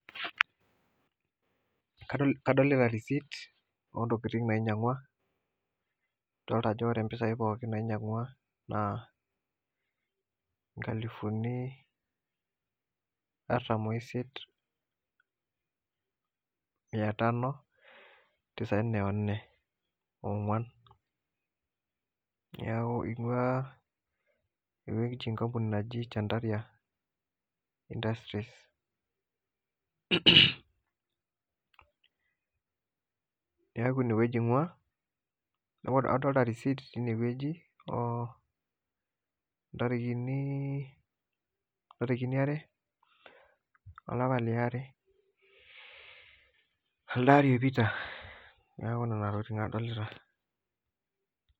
Kadolita receipt oo ntokitin nainyang'ua dolita aje ore pisai pookin nainyang'ua naa nkalifuni artam oo isiet Mia tano tisaini na nne neeku einguu ninche enkampuni naji chandaria industries neeku ine weuji inguaa adolita receipt tenewueji oo ntarikini are olapa liare elde ari oipita neeku Nena tokitin adolita